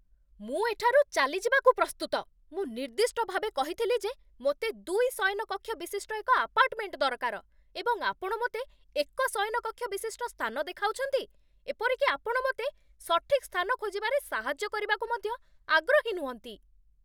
ମୁଁ ଏଠାରୁ ଚାଲିଯିବାକୁ ପ୍ରସ୍ତୁତ। ମୁଁ ନିର୍ଦ୍ଦିଷ୍ଟ ଭାବେ କହିଥିଲି ଯେ ମୋତେ ଦୁଇ ଶୟନକକ୍ଷ ବିଶିଷ୍ଟ ଏକ ଆପାର୍ଟମେଣ୍ଟ ଦରକାର, ଏବଂ ଆପଣ ମୋତେ ଏକ ଶୟନକକ୍ଷ ବିଶିଷ୍ଟ ସ୍ଥାନ ଦେଖାଉଛନ୍ତି। ଏପରିକି ଆପଣ ମୋତେ ସଠିକ୍ ସ୍ଥାନ ଖୋଜିବାରେ ସାହାଯ୍ୟ କରିବାକୁ ମଧ୍ୟ ଆଗ୍ରହୀ ନୁହଁନ୍ତି।